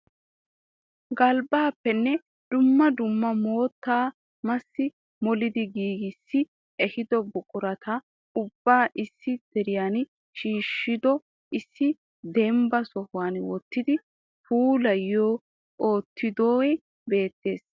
Galbbappenne dumma dumma mottaa massi molidi giigissi ehido buqurata ubba issi diran shioshshido issi dembba sohuwaa wottidi puulayyi uttidoohe beettees.